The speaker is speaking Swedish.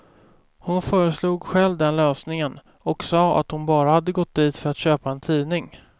Hon föreslog själv den lösningen, och sa att hon bara hade gått dit för att köpa en tidning.